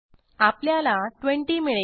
आपल्याला 20 मिळेल